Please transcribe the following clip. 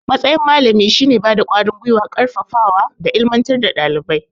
Matsayin malami shine bada ƙwarin gwiwa, ƙarfafawa da ilimantar da dalibai